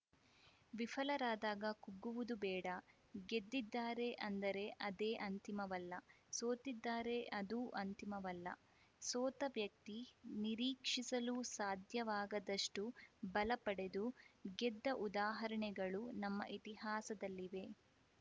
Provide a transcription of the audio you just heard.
ವಿಫಲರಾದಾಗ ಕುಗ್ಗುವುದು ಬೇಡ ಗೆದ್ದಿದ್ದಾರೆ ಅಂದರೆ ಅದೇ ಅಂತಿಮವಲ್ಲ ಸೋತಿದ್ದರೆ ಅದೂ ಅಂತಿಮವಲ್ಲ ಸೋತ ವ್ಯಕ್ತಿ ನಿರೀಕ್ಷಿಸಲೂ ಸಾಧ್ಯವಾಗದಷ್ಟುಬಲ ಪಡೆದು ಗೆದ್ದ ಉದಾಹರಣೆಗಳು ನಮ್ಮ ಇತಿಹಾಸದಲ್ಲಿವೆ